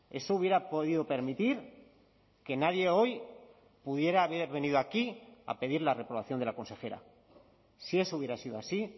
eso hubiera podido permitir que nadie hoy pudiera haber venido aquí a pedir la reprobación de la consejera si eso hubiera sido así